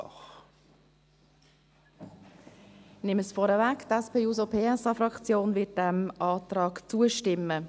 Ich nehme es vorweg, die SP-JUSO-PSA-Fraktion wird diesem Antrag zustimmen.